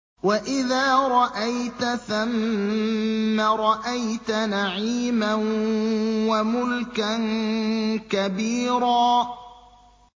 وَإِذَا رَأَيْتَ ثَمَّ رَأَيْتَ نَعِيمًا وَمُلْكًا كَبِيرًا